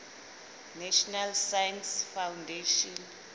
national science foundation